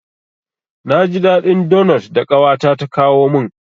Na ji daɗin donot da ƙawata ta kawo min.